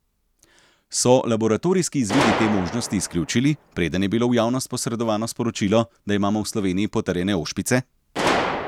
So laboratorijski izvidi te možnosti izključili, preden je bilo v javnost posredovano sporočilo, da imamo v Sloveniji potrjene ošpice?